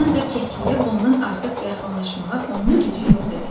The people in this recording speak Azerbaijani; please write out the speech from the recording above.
Ancaq kəkliyə bundan artıq yaxınlaşmağa onun gücü yox idi.